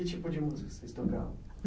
E que tipo de música vocês tocavam?